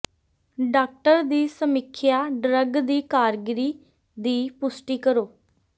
doctor ਦੀ ਸਮੀਖਿਆ drug ਦੀ ਕਾਰਗਰੀ ਦੀ ਪੁਸ਼ਟੀ ਕਰੋ